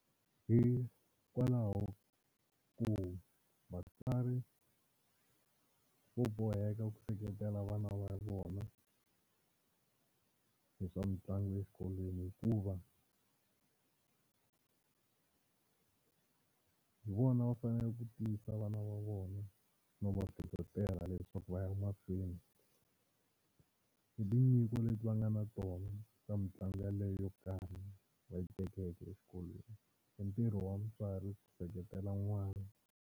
Hikwalaho ko vatswari vo boheka ku seketela vana va vona hi swa mitlangu exikolweni, hikuva hi vona va faneleke ku tiyisa vana va vona no va hlohlotela leswaku va ya mahlweni hi tinyiko leti va nga na tona ta mitlangu yaleyo yo karhi va yi tekeke exikolweni i ntirho wa mutswari ku seketela n'wana.